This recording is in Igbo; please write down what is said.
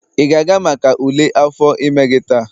ị ga-aga maka ule afọ ime gị taa?